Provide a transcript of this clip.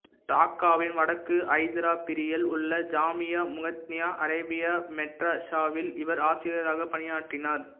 டாக்காவின் வடக்கு ஜத்ராபரியில் உள்ள ஜாமியா முஹம்ம்தியா அரேபியா மெட்ராஷாவில் இவர் ஆசிரியராக பணியாற்றினார்